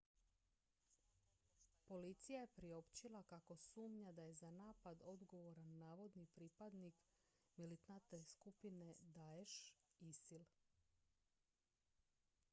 policija je priopćila kako sumnja da je za napad odgovoran navodni pripadnik militantne skupine daesh isil